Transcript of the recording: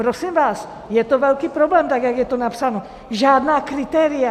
Prosím vás, je to velký problém, tak jak je to napsáno, žádná kritéria.